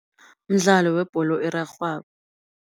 Mdlalo webholo erarhwako.